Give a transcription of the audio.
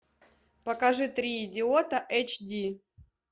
покажи три идиота эйч ди